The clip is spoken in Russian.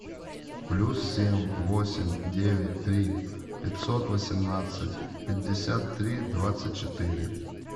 плюс семь восемь девять три пятьсот восемнадцать пятьдесят три двадцать четыре